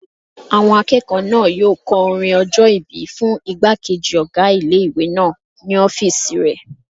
Àwọn akẹ́kọ̀ọ́ náà yóò kọ orin ọjọ́-ìbí fún ìgbàkejì ọgá ilé-ìwé náà ní ọ́fìsì rẹ̀